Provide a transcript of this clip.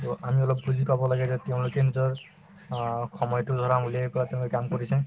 to আমি অলপ বুজি পাব লাগে যে তেওঁলোকে নিজৰ অ সময়তো ধৰা উলিয়াই পেলাই তেওঁলোকে কাম কৰিছে